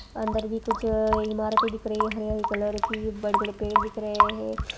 अंदर भी कुछ इमारत दिख रही है हरे हरे कलर की बड़े बड़े पेड़ दिख रहे है।